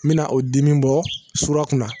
N bɛna o dimi bɔ sura kunna